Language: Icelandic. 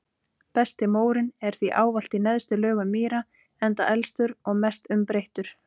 Besti mórinn er því ávallt í neðstu lögum mýra enda elstur og mest umbreyttur.